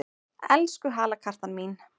Elsku halakartan mín!